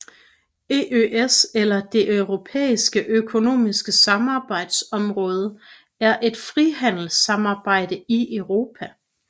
EØS eller Det Europæiske Økonomiske Samarbejdsområde er et frihandelssamarbejde i Europa